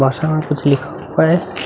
वासा में कुछ लिखा हुवा है।